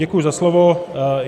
Děkuji za slovo.